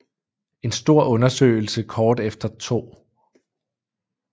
En stor undersøgelse kort efter 2